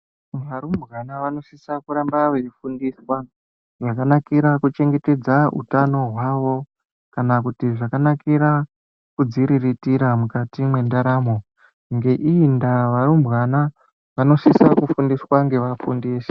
Varumbwana vanosisa kuramba veifundiswa zvakanakira kuchengetedza hutano hwavo. Kana kuti zvakanakira kudziriritira mukati mwendaramo. Ngeiyi ndaa varumbwana vanosisa kufundiswa ngevafundisi.